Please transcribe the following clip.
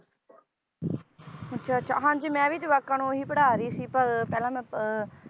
ਅੱਛਾ ਅੱਛਾ ਹਾਂਜੀ ਮੈ ਵੀ ਜਵਾਕਾਂ ਨੂੰ ਉਹ ਹੀ ਪੜ੍ਹਾ ਰਹੀ ਸੀ ਪਰ ਪਹਿਲਾਂ ਮੈਂ ਅਹ